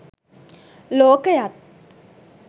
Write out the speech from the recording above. ලෝකයත්